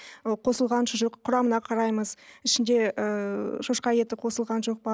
ы қосылған шұжық құрамына қараймыз ішінде ыыы шошқа еті қосылған жоқ па